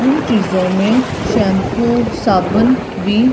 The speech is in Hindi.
उन चीजों में शैंपू साबुन भी--